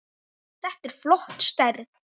Þetta er flott stærð.